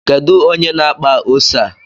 Kedu onye na-akpa ose a?